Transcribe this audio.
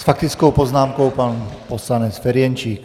S faktickou poznámkou pan poslanec Ferjenčík.